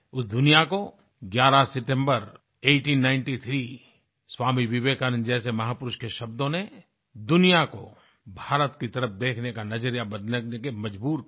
उस दुनिया को 11 सितम्बर 1893 स्वामी विवेकानंद जैसे महापुरुष के शब्दों ने दुनिया को भारत की तरफ देखने का नज़रिया बदलने के लिए मजबूर कर दिया